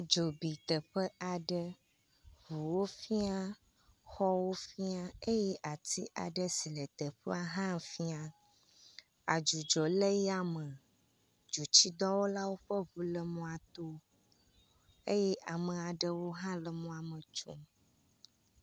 Dzo bi teƒe aɖe. Ŋuwo fia, xɔwo fia eye atsi aɖe si le teƒea hã fia. Adzudzɔ le ya me. Dzotsidɔwɔlawo ƒe ŋu le mɔto eye ame aɖewo hã le mɔame tsom.